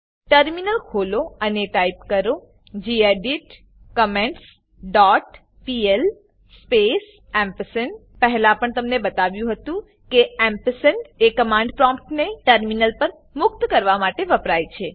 terminal ખોલો અને type કરો gedit comments dot PL space પહેલા પણ તમને બતાવ્યું હતું કે એમ્પરસેન્ડ એ કમાન્ડ પ્રોમ્પ્ટ ને ટર્મિનલ પર મુક્ત કરવા માટે વપરાય છે